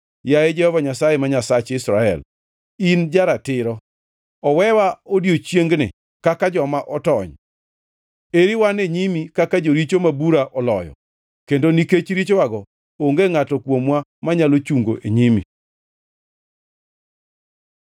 Yaye Jehova Nyasaye, ma Nyasach Israel, in ja-ratiro! Owewa odiechiengni kaka joma otony. Eri wan e nyimi kaka joricho ma bura oloyo, kendo nikech richowago, onge ngʼato kuomwa manyalo chungo e nyimi.”